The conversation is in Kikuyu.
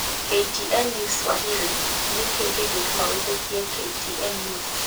KTN News Swahili: Nĩkĩ kĩngĩtũma wĩtĩkie KTN News